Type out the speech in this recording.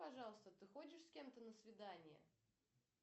пожалуйста ты ходишь с кем то на свидание